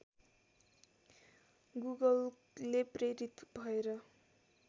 गुगलले प्रेरित भएर